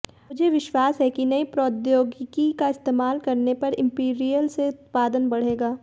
मुझे विश्वास है कि नई प्रौद्योगिकी का इस्तेमाल करने पर इंपीरियल से उत्पादन बढ़ेगा